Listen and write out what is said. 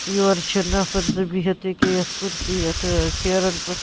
.یورٕچھ نفرزٕبِہِتھ أکیا یتھ کُرسی یتھہٕ سیرٮ۪ن پٮ۪ٹھ